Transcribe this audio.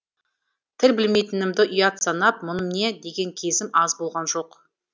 тіл білмейтінімді ұят санап мұным не деген кезім аз болған жоқ